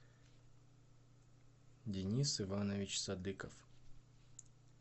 денис иванович садыков